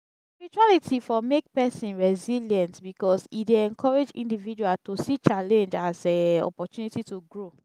spirituality for make person resilient because e dey encourage individual to see challenge as um opportunity to grow